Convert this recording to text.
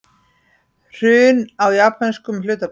Hrun á japönskum hlutabréfamarkaði